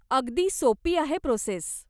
अगदी सोपी आहे प्रोसेस.